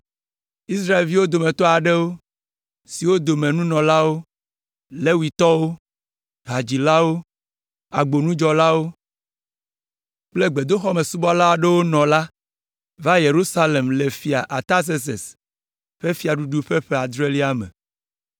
Israelviwo dometɔ aɖewo, siwo dome nunɔlawo, Levitɔwo, hadzilawo, agbonudzɔlawo kple gbedoxɔmesubɔla aɖewo nɔ la va Yerusalem le Fia Artazerses ƒe fiaɖuɖu ƒe ƒe adrelia me.